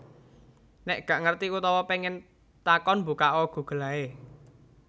Nek gak ngerti utawa pengen takon mbukak o Google ae